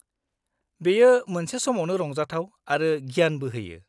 -बेयो मोनसे समावनो रंजाथाव आरो गियानबो होयो।